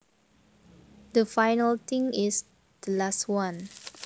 The final thing is the last one